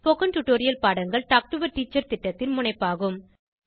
spoken tutorial பாடங்கள் talk to a teacher திட்டத்தின் முனைப்பாகும்